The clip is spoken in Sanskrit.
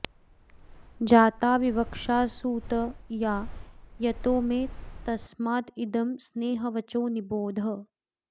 जाता विवक्षा सुत या यतो मे तस्मादिदं स्नेहवचो निबोध